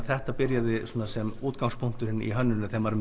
þetta byrjaði sem útgangspunkturinn í hönnuninni þegar maður